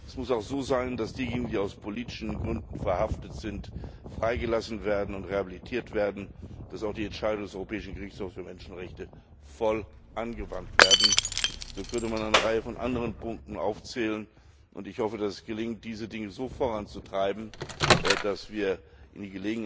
Es muss auch so sein, dass diejenigen, die aus politischen Gründen verhaftet sind, freigelassen und rehabilitiert werden, dass auch die Entscheidungen des Europäischen Gerichtshofs für Menschenrechte voll angewandt werden. So könnte man noch eine Reihe von anderen Punkten aufzählen, und ich hoffe, dass es gelingt, diese Dinge so voranzutreiben, dass